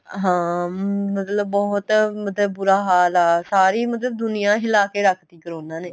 ਹਾਂ ਮਤਲਬ ਬਹੁਤ ਮਤਲਬ ਬੁਰਾ ਹਾਲ ਆ ਸਾਰੀ ਮਤਲਬ ਦੁਨੀਆ ਹਿਲਾ ਕੇ ਰੱਖ ਤੀ ਕਰੋਨਾ ਨੇ